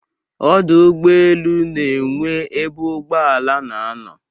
Ọdụ ụgbọ elu na-enwe ebe ụgbọ ala na-anọ.